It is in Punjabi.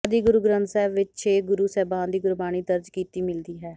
ਆਦਿ ਗੁਰੂ ਗ੍ਰੰਥ ਸਾਹਿਬ ਵਿੱਚ ਛੇ ਗੁਰੂ ਸਾਹਿਬਾਨ ਦੀ ਗੁਰਬਾਣੀ ਦਰਜ ਕੀਤੀ ਮਿਲਦੀ ਹੈ